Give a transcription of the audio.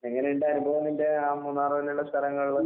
എങ്ങനെയ്ണ്ട് അനുഭവം നിന്റെ ആ മൂന്നാറ് പോലെയുള്ള സ്ഥലങ്ങളില്?